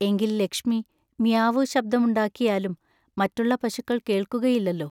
എങ്കിൽ ലക്ഷ്മി മിയാവൂ ശബ്ദമുണ്ടാക്കിയാലും മറ്റുള്ള പശുക്കൾ കേൾക്കുകയില്ലല്ലോ.